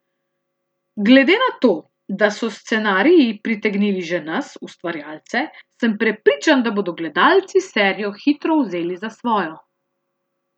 Glede na to, da so scenariji pritegnili že nas, ustvarjalce, sem prepričan, da bodo gledalci serijo hitro vzeli za svojo.